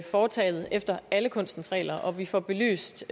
foretaget efter alle kunstens regler og at vi får belyst